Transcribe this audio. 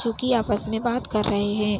जो की आपस में बात कर रहे है।